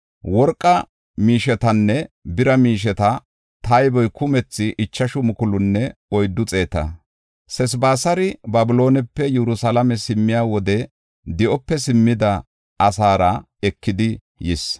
Worqa miishetanne bira miisheta tayboy kumethi ichashu mukulunne oyddu xeeta; Seesabisari Babiloonepe Yerusalaame simmiya wode di7ope simmida asaara ekidi yis.